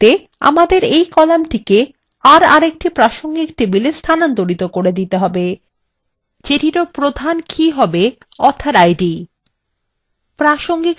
এর পরিবর্তে আমাদের এই columnটিকে aএকটি প্রাসঙ্গিক table স্থানান্তরিত করে দিতে হবে যেটিরও প্রাথমিক key হবে একই author আইডি